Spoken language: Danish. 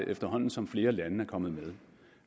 efterhånden som flere lande er kommet med